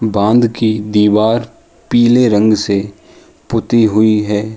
बांध की दीवार पीले रंग से पुती हुई है।